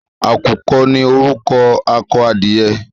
À̀kùkọ ní orúkọ akọ edìyẹ.